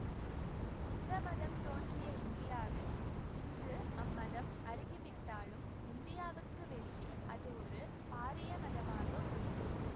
புத்த மதம் தோன்றிய இந்தியாவில் இன்று அம்மதம் அருகி விட்டாலும் இந்தியாவுக்கு வெளியே அது ஒரு பாரிய மதமாக உள்ளது